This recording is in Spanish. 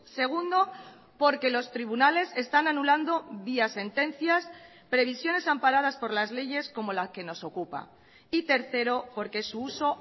segundo porque los tribunales están anulando vía sentencias previsiones amparadas por las leyes como la que nos ocupa y tercero porque su uso